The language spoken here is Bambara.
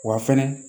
Wa fɛnɛ